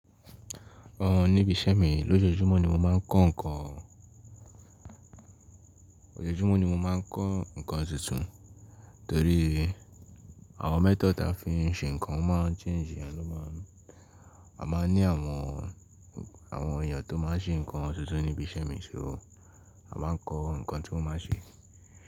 Uhn níbi iṣẹ́ mi, lójoojúmọ́ ni mo máa ń kọ́ nǹkan, Ojoojúmọ́ ni mo máa ń kọ́ nǹkan tuntun torí àwọn method ti a fi ń ṣe nǹkan, o máa ń change, iyen ló máa ń A máa ń ní àwọn, àwọn èèyàn tó máa ń ṣe nǹkan tuntun níbi iṣẹ́ mi, so a máa ń kọ́ nǹkan tí wọ́n máa ṣe.